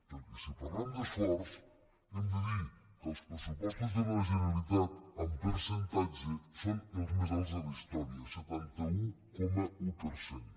perquè si parlem d’esforç hem de dir que els pressupostos de la generalitat en percentatge són els més alts de la historia setanta un coma un per cent